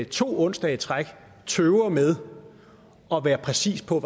to onsdage i træk tøver med at være præcis på